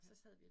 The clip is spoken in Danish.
Ja